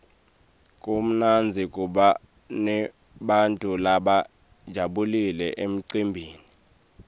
kumnandzi kuba nebantfu labajabulile emcimbini